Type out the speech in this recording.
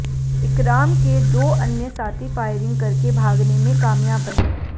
इकराम के दो अन्य साथी फायरिंग करके भागने में कामयाब रहे